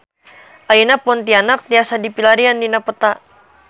Ayeuna Pontianak tiasa dipilarian dina peta